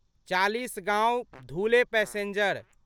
Chalisgaon Dhule passenger